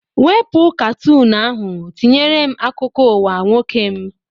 Wepu katoọnụ ahụ tinyere m akụkọ ụwa nwoke m!